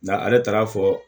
Nga ale taara fɔ